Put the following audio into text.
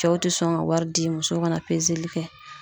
Cɛw te sɔn ka wari di musow ka na pezeli kɛ